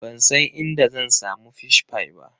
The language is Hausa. Ban san inda zan samu Fish pie ba.